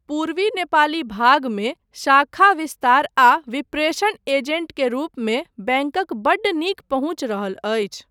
पूर्वी नेपाली भागमे शाखा विस्तार आ विप्रेशण एजेन्ट के रूपमे बैंकक बड्ड नीक पहुँच रहल अछि।